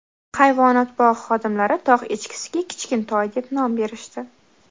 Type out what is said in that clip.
Hayvonot bog‘i xodimlari tog‘ echkisiga Kichkintoy deb nom berishdi.